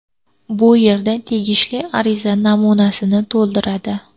Bu yerda tegishli ariza namunasini to‘ldiradi.